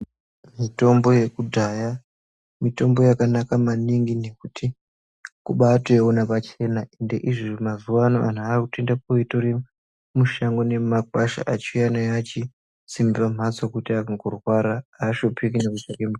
Mutombo yekudhaya mutombo yakanaka maningi ngekuti kubaatoiona pachena ende izvi mazuwa ano anhu akuetoenda koitore mushango nemumakwasha achiuya nayo achisima pamhatso kuti antu kurwara aashupiki achitsvake mu .